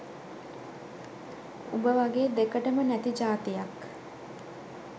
උඹ වගේ දෙකටම නැති ජාතියක්